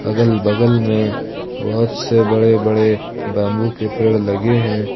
अगल बगल में बहुत से बड़े बड़े बंबू के पेड़ लगे हैं।